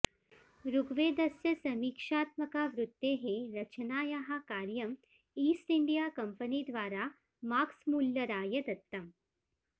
ऋग्वेदस्य समीक्षात्मकावृत्तेः रचनायाः कार्यं ईस्ट् इण्डिया कम्पनी द्वारा माक्स्मुल्लराय दत्तम्